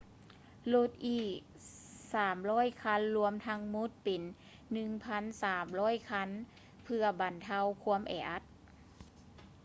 ລົດອີກ 300 ຄັນ ລວມທັງໝົດເປັນ 1,300 ຄັນ ເພື່ອບັນເທົາຄວາມແອອັດ